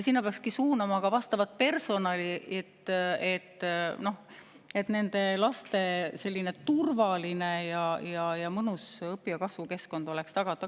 Sinna peaks suunama ka vastavat personali, et nende laste turvaline ja mõnus õpi‑ ja kasvukeskkond oleks tagatud.